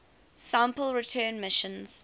sample return missions